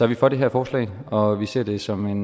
vi for det her forslag og vi ser det som